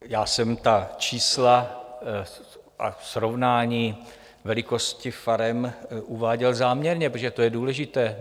Já jsem ta čísla a srovnání velikosti farem uváděl záměrně, protože to je důležité.